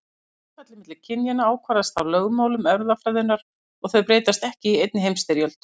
Hlutfallið milli kynjanna ákvarðast af lögmálum erfðafræðinnar og þau breytast ekki í einni heimstyrjöld.